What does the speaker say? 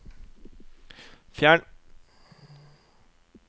fjern